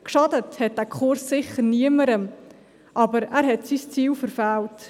Geschadet hat dieser Kurs sicher niemandem, aber er hat sein Ziel verfehlt.